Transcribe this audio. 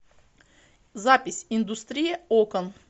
запись индустрия окон